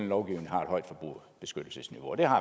lovgivning har et højt forbrugerbeskyttelsesniveau og det har